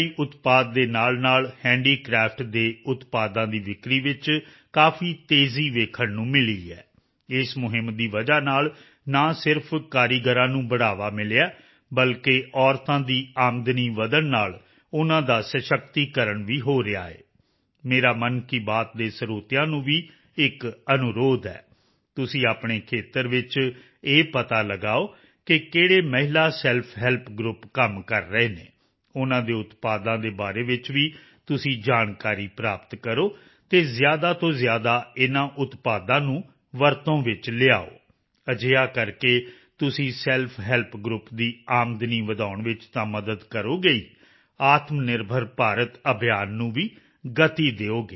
ਉਤਪਾਦ ਦੇ ਨਾਲਨਾਲ ਹੈਂਡੀਕ੍ਰਾਫਟ ਦੇ ਉਤਪਾਦਾਂ ਦੀ ਵਿੱਕਰੀ ਵਿੱਚ ਕਾਫੀ ਤੇਜ਼ੀ ਦੇਖਣ ਨੂੰ ਮਿਲੀ ਹੈ ਇਸ ਮੁਹਿੰਮ ਦੀ ਵਜ੍ਹਾ ਨਾਲ ਨਾ ਸਿਰਫ਼ ਕਾਰੀਗਰਾਂ ਨੂੰ ਹੁਲਾਰਾ ਮਿਲਿਆ ਹੈ ਬਲਕਿ ਮਹਿਲਾਵਾਂ ਦੀ ਆਮਦਨੀ ਵਧਣ ਨਾਲ ਉਨ੍ਹਾਂ ਦਾ ਸਸ਼ਕਤੀਕਰਣ ਵੀ ਹੋ ਰਿਹਾ ਹੈ ਮੇਰਾ ਮਨ ਕੀ ਬਾਤ ਦੇ ਸਰੋਤਿਆਂ ਨੂੰ ਵੀ ਇੱਕ ਅਨੁਰੋਧ ਹੈ ਤੁਸੀਂ ਆਪਣੇ ਖੇਤਰ ਵਿੱਚ ਇਹ ਪਤਾ ਲਗਾਓ ਕਿ ਕਿਹੜੇ ਮਹਿਲਾ ਸੈਲਫ ਹੈਲਪ ਗਰੁੱਪ ਕੰਮ ਕਰ ਰਹੇ ਹਨ ਉਨ੍ਹਾਂ ਦੇ ਉਤਪਾਦਾਂ ਬਾਰੇ ਵੀ ਤੁਸੀਂ ਜਾਣਕਾਰੀ ਪ੍ਰਾਪਤ ਕਰੋ ਅਤੇ ਜ਼ਿਆਦਾ ਤੋਂ ਜ਼ਿਆਦਾ ਇਨ੍ਹਾਂ ਉਤਪਾਦਾਂ ਨੂੰ ਵਰਤੋਂ ਵਿੱਚ ਲਿਆਓ ਅਜਿਹਾ ਕਰਕੇ ਤੁਸੀਂ ਸੈਲਫ ਹੈਲਪ ਗਰੁੱਪ ਦੀ ਆਮਦਨੀ ਵਧਾਉਣ ਵਿੱਚ ਤਾਂ ਮਦਦ ਕਰੋਗੇ ਹੀ ਆਤਮਨਿਰਭਰ ਭਾਰਤ ਅਭਿਯਾਨ ਨੂੰ ਵੀ ਗਤੀ ਦਿਓਗੇ